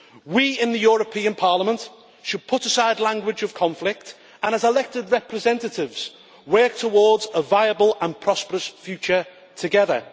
We, in the European Parliament, should put aside the language of conflict and, as elected representatives, work towards a viable and prosperous future together.